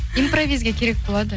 импровизге керек болады